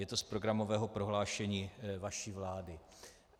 Je to z programového prohlášení vaší vlády.